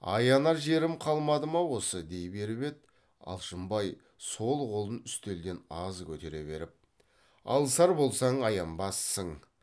аянар жерім қалмады ма осы дей беріп еді алшынбай сол қолын үстелден аз көтере беріп алысар болсаң аянбассың